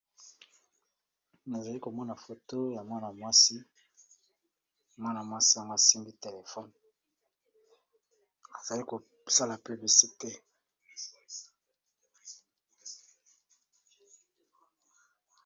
Nazali komona foto ya mwana mwasi mwana mwasi ngo asimbi telefone azali kosala publicite.